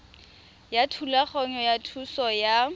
ya thulaganyo ya thuso ya